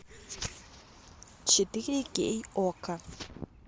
четыре кей окко